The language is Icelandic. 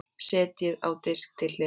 Setjið á disk til hliðar.